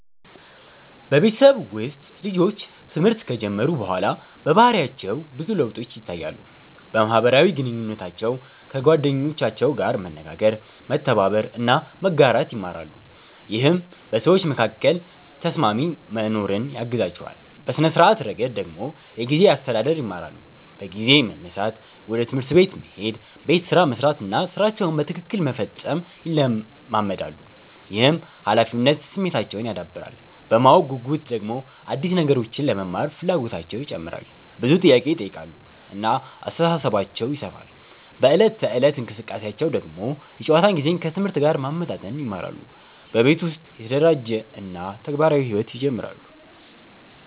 በቤተሰብ ውስጥ ልጆች ትምህርት ከጀመሩ በኋላ በባህሪያቸው ብዙ ለውጦች ይታያሉ። በማህበራዊ ግንኙነታቸው ከጓደኞቻቸው ጋር መነጋገር፣ መተባበር እና መጋራት ይማራሉ፣ ይህም በሰዎች መካከል ተስማሚ መኖርን ያግዛቸዋል። በሥነ-ስርዓት ረገድ ደግሞ የጊዜ አስተዳደር ይማራሉ፤ በጊዜ መነሳት፣ ወደ ትምህርት መሄድ፣ ቤት ስራ መስራት እና ሥራቸውን በትክክል መፈጸም ይለመዳሉ። ይህም ኃላፊነት ስሜታቸውን ያዳብራል። በማወቅ ጉጉት ደግሞ አዲስ ነገሮችን ለመማር ፍላጎታቸው ይጨምራል፣ ብዙ ጥያቄ ይጠይቃሉ እና አስተሳሰባቸው ይሰፋል። በዕለት ተዕለት እንቅስቃሴያቸው ደግሞ የጨዋታ ጊዜን ከትምህርት ጋር ማመጣጠን ይማራሉ፣ በቤት ውስጥ የተደራጀ እና ተግባራዊ ሕይወት ይጀምራሉ።